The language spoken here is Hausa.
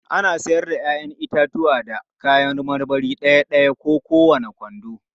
Ana iya siyar da 'ya'yan itatuwa da kayan marmari ɗaya-ɗaya ko kowane kwando.